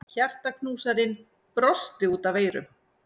Hjartaknúsarinn brosti út að eyrum.